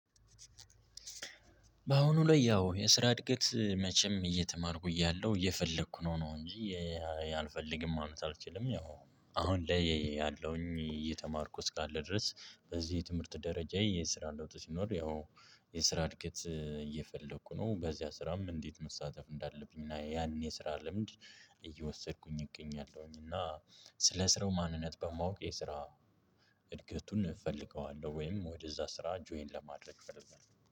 በአሁኑ ላይ ያው የስራ እድገት መቼም እየተማርኩ እያለሁ፤ እየፈለኩ ነው ነው እንጂ አልፈልግም ማለት አልችልም። ያው አሁን ላይ ያለውኝ እየተማርኩ እስካለ ድረስ በዚህ ትምህርት ደረጃ የስራ ለውጥ ሲኖር፤ ያው የስራ እድገት እየፈለኩ ነው። በዚያ ስራም እንዴት መሳተፍ እንዳለብኝ እና ያን የስራ ልምድ እየወሰድኩኝ እገኛለሁኝ። እና ስለ ስራው ማንነት በማወቅ የስራ እድገቱን እፈልገዋለሁ፤ ወይም ወደዛ ስራ ጆይን ለማድረግ እፈልጋለሁ።